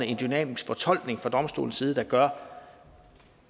en dynamisk fortolkning fra domstolens side gør